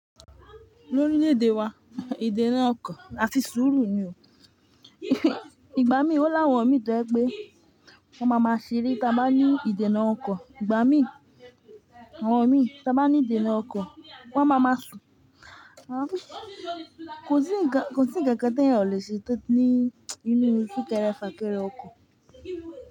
Lóríle èdè wa, èdè náà ọkàn àti sùúrù ni o. Ìgbà mí ò láwọn mín tó jẹ́ pé wọ́n ma máa ṣeré tá bá ní ìdènà ọkọ̀. Ìgbà mí, àwọn imín tá bá ní ìdènà ọkọ̀, wọ́n ma ma sùn. Kò sí ń kan kò sí n kankan tí èèyàn ò lè o ṣe tó ní inú sunkéré fàkéré ọkọ̀.